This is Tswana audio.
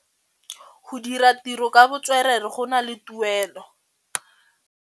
Go dira ditirô ka botswerere go na le tuelô.